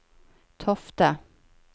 Tofte